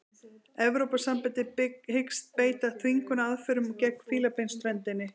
Evrópusambandið hyggst beita þvingunaraðferðum gegn Fílabeinsströndinni